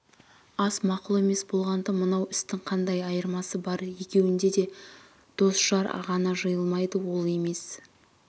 ас мақұл емес болғанда мынау істің қандай айырмасы бар екеуінде де дос-жар ғана жиылмайды ол емес